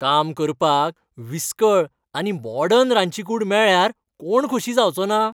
काम करपाक विस्कळ आनी मॉडर्न रांदची कूड मेळ्ळ्यार कोण खोशी जावचोना?